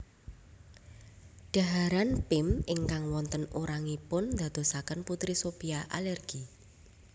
Dhaharan Pim ingkang wonten urangipun ndadosaken Putri Sophia alergi